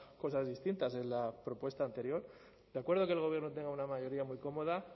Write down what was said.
cosas distintas en la propuesta anterior de acuerdo que el gobierno tenga una mayoría muy cómoda